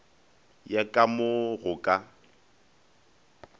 ya ka mo go ka